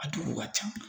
A duguw ka ca